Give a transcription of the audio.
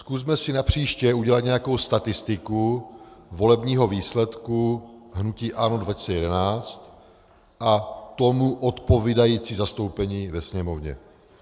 Zkusme si napříště udělat nějakou statistiku volebního výsledku hnutí ANO 2011 a tomu odpovídající zastoupení ve Sněmovně.